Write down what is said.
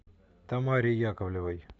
тамаре яковлевой